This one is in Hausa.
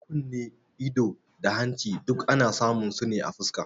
Kunne, ido, da hanci duk ana samun su ne a fuska